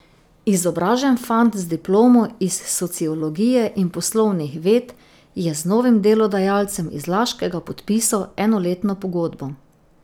Izobražen fant z diplomo iz sociologije in poslovnih ved je z novim delodajalcem iz Laškega podpisal enoletno pogodbo.